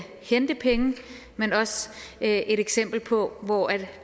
hente penge men også et eksempel på hvor